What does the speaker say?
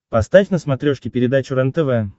поставь на смотрешке передачу рентв